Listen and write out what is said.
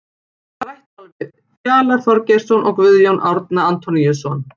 Rætt var við Fjalar Þorgeirsson og Guðjón Árni Antoníusson.